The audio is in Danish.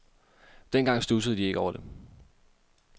Dengang studsede de ikke over det.